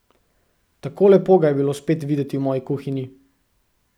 Tako lepo ga je bilo spet videti v moji kuhinji.